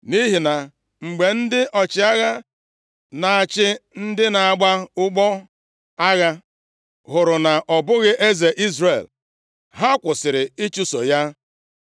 nʼihi na mgbe ndị ọchịagha, na-achị ndị na-agba ụgbọ agha hụrụ na ọ bụghị eze Izrel, ha kwụsịrị ịchụso ya.